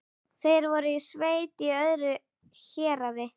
Er þetta ekki bara gráupplagt?